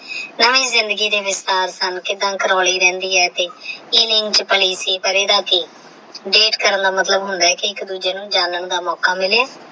ਪੁਰਾਣੀ ਜਿੰਦਗੀ ਦੇ ਵਿੱਚ ਕਿੱਦਾਂ ਕਾਰੁਲੀ ਰਹਿੰਦੀ ਹੈ ਤੇ ਇਹ ਕਿੰਝ ਭਲੀ ਸੀ ਪਰ ਇਹਦਾ ਕੀ ਡੇਟ ਕਰਨ ਦਾ ਮਤਲਬ ਹੁੰਦਾ ਹ ਅਕੀ ਇੱਕ ਦੂਜੇ ਨੂੰ ਜਾਨਣ ਦਾ ਮੌਕਾ ਮਿਲੇ।